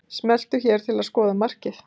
Smelltu hér til að skoða markið